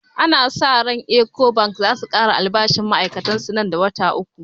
Ana sa ran cewan ecobank zasu kara albashinn ma'ai'katan su nan da wata uku